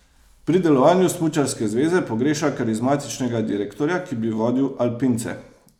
Pri delovanju smučarske zveze pogreša karizmatičnega direktorja, ki bi vodil alpince.